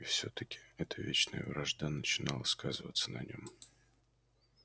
и всё таки эта вечная вражда начинала сказываться на нём